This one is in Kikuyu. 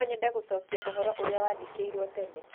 No nyende gũcokia ũhoro ũrĩa wandĩkĩirũo tene.